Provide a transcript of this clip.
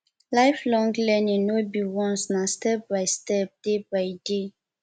lifelong learning no be once na step by step day by day